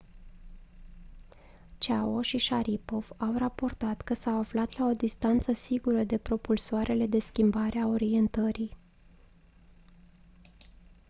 chiao și sharipov au raportat că s-au aflat la o distanță sigură de propulsoarele de schimbare a orientării